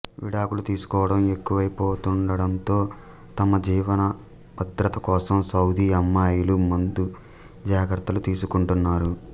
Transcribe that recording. విడాకులు తీసుకోవడం ఎక్కువైపోతుండడంతో తమ జీవనభద్రత కోసం సౌదీ అమ్మాయిలు ముందు జాగ్రత్తలు తీసుకుంటున్నారు